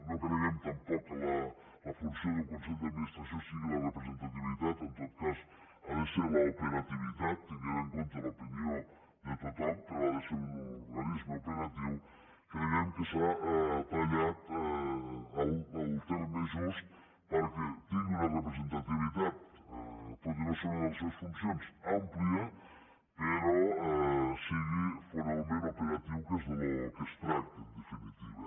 no creiem tampoc que la funció d’un consell d’administració sigui la representativitat en tot cas ha de ser l’operativitat tenint en compte l’opinió de tothom però ha de ser un organisme operatiu creiem que s’ha tallat al terme just perquè tingui una representativitat tot i que no sigui una de les seves funcions àmplia però que sigui finalment operatiu que és del que es tracta en definitiva